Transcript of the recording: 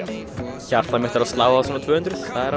hjartað mitt er að slá á svona tvö hundruð